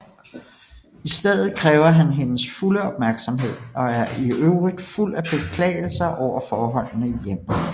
I stedet kræver han hendes fulde opmærksomhed og er i øvrigt fuld af beklagelser over forholdene i hjemmet